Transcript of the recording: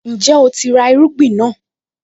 Ǹjẹ́ o ti ra àwọn irúgbìn náà?